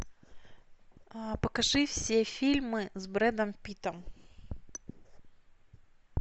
покажи все фильмы с брэдом питтом